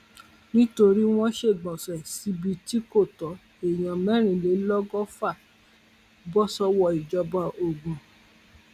nítorí wọn ṣègbọnṣe síbi tí kò tó èèyàn mẹrìnlélọgọfà bọ sọwọ ìjọba ogun